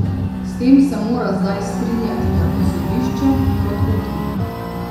S tem se mora zdaj strinjati tako sodišče kot upniki.